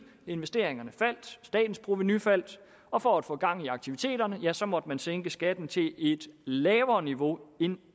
investeringerne faldt statens provenu faldt og for at få gang i aktiviteterne måtte man sænke skatten til et lavere niveau end